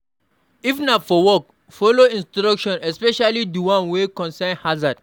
If na for work, follow instruction especially di one wey concern harzard